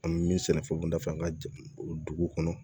An bɛ min sɛnɛ fɛnw kunda fɛ an ka dugu kɔnɔ